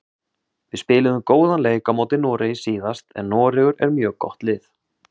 Við spiluðum góðan leik á móti Noregi síðast en Noregur er mjög gott lið.